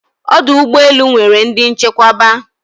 Odụ̀ ụgbe elū nwer ndi nchekweba